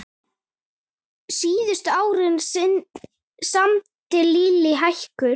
Síðustu árin samdi Lillý hækur.